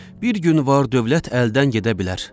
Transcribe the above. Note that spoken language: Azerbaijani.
Bir gün var-dövlət əldən gedə bilər.